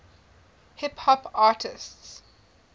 hip hop artists